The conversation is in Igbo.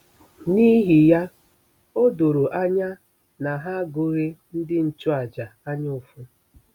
N'ihi ya, o doro anya na ha agụghị ndị nchụàjà anyaụfụ.